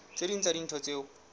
tse ding tsa dintho tseo